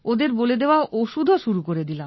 ওদের বলে দেওয়া ওষুধ ও শুরু করে দিলাম